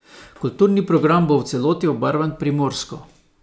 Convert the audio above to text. Kulturni program bo v celoti obarvan primorsko.